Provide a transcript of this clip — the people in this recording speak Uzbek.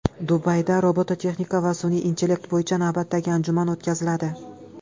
Dubayda robototexnika va sun’iy intellekt bo‘yicha navbatdagi anjuman o‘tkaziladi.